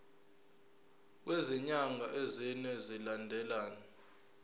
kwezinyanga ezine zilandelana